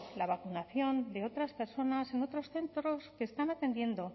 la vacunación de otras personas en otros centros que están atendiendo